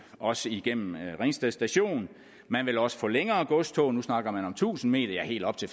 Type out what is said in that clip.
også igennem ringsted station man vil også få længere godstog nu snakker man om tusind m ja helt op til